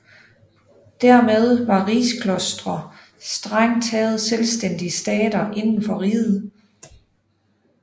Dermed var rigsklostre strengt taget selvstændige stater inden for riget